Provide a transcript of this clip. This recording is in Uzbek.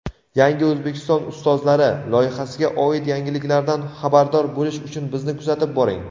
"Yangi O‘zbekiston ustozlari" loyihasiga oid yangiliklardan xabardor bo‘lish uchun bizni kuzatib boring!.